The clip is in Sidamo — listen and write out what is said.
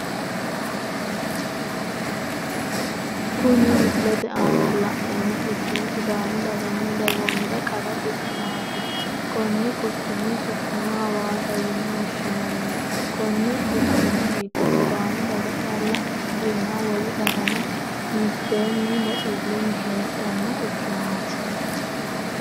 Kunni misilete aanna la'neemo quchumi sidaamu daganna dagoomira qara quchumati konni quchumi su'mino hawaassa yine woshinnanni konni quchumi gidi sidaami daga calla ikikinni wole dagano meteenni baxilunni heedhano quchumaati.